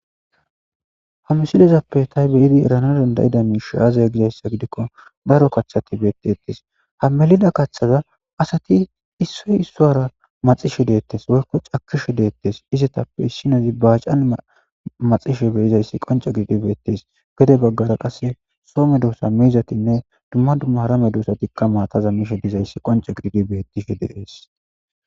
hamsilezappe tay beyidi erana dandayida miishaaazay gizayssa gidikko daro kathati beettettes ha melida kaththaza asati issoy issowara maxishe deettes woykko cakishe deettes izetappe issinazi baacan maxishe beyizayssi qonca gididi beettes gede baggara qasse soome doossa miizatinne dumma dummara me doosatikka maataza mishe dizayssi qonca gididi bettishe deees